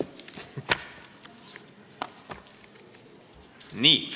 Nii.